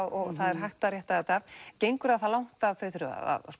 og það er hægt að rétta þetta af gengur það það langt að þau þurfi að